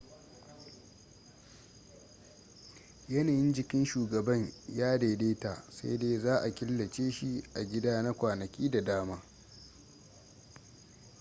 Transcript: yanayin jikin shugaban ya daidaita sai dai za a killace shi a gida na kwanaki da dama